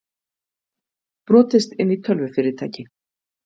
Brotist inn í tölvufyrirtæki